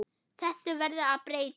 Þessu verður að breyta.